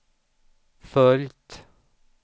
följt